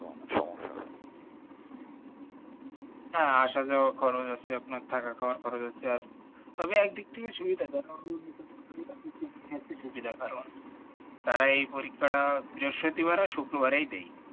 হ্যাঁ আসা যাওয়ার খরচ হচ্ছে আপনার থাকা খাওয়ার খরচ হচ্ছে তবে একদিক থেকে সুবিধা যেন কারণ তারা এই পরীক্ষা টা বৃহস্পতিবার আর শুক্র বারে দেই